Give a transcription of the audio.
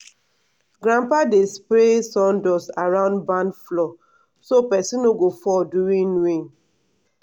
grandpa dey spray sawdust around barn floor so person no go fall during rain.